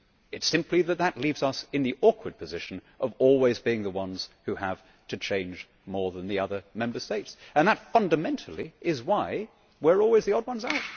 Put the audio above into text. It is simply that this leaves us in the awkward position of always being the ones who have to change more than the other Member States and that, fundamentally, is why we are always the odd ones out.